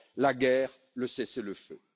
la guerre et le cessez le feu.